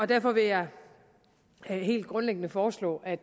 derfor vil jeg helt grundliggende foreslå at